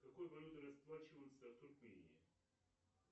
какой валютой расплачиваться в туркмении